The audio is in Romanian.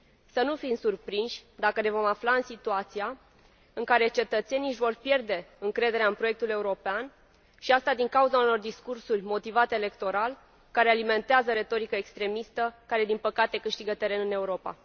Să nu fim surprinși dacă ne vom afla în situația în care cetățenii își vor pierde încrederea în proiectul european, și asta din cauza unor discursuri motivate electoral, care alimentează retorica extremistă care, din păcate, câștigă teren în Europa.